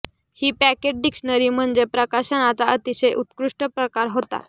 ही pocket dictionary म्हणजे प्रकाशनाचा अतिशय उत्कृष्ट प्रकार होता